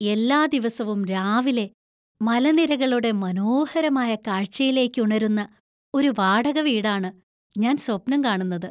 എല്ലാ ദിവസവും രാവിലെ മലനിരകളുടെ മനോഹരമായ കാഴ്ചയിലേക്ക് ഉണരുന്ന ഒരു വാടക വീടാണ് ഞാൻ സ്വപ്നം കാണുന്നത്.